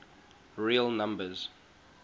real numbers